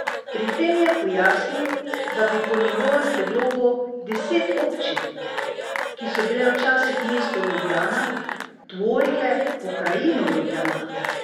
Pri tem je pojasnil, da bi po njegovem predlogu deset občin, ki so bile včasih mesto Ljubljana, tvorile pokrajino Ljubljana.